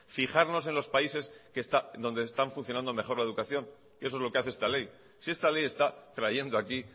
fijarnos en los países donde está funcionando mejor la educación eso es lo que hace esta ley si esta ley está trayendo aquí